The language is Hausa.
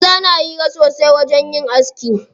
Maza na hira sosai a wajen yin aski.